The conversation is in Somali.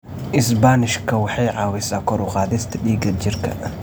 Isbaanishka waxay caawisaa kor u qaadista dhiigga jidhka.